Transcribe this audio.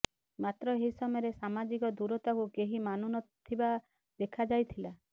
ମାତ୍ର ଏହି ସମୟରେ ସାମାଜିକ ଦୂରତାକୁ କେହି ମାନୁ ନ ଥିବା ଦେଖାଯାଇଥିଲା